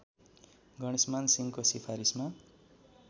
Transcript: गणेशमान सिंहको सिफारिसमा